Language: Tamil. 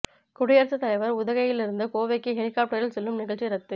குடியரசுத் தலைவர் உதகையில் இருந்து கோவைக்கு ஹெலிகாப்டரில் செல்லும் நிகழ்ச்சி ரத்து